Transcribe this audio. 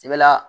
I bɛ la